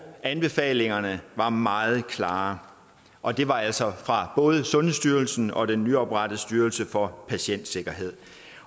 anbefalingerne var meget klare og de var altså fra både sundhedsstyrelsen og den nyoprettede styrelse for patientsikkerhed